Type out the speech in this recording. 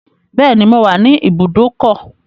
Bẹ́ẹ̀ni, mo wà ní ibùdókọ̀.